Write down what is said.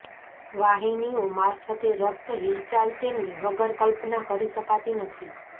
વાહિનીઓ મારફતે રક્ત હિલચાલ તેમને વગર કલ્પના કરી શકાતી નથી